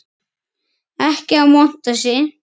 Ekki að monta sig.